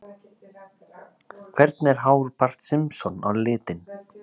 Hvernig er hár Barts Simpson á litinn?